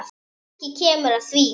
Kannski kemur að því.